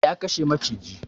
Ya kashe maciji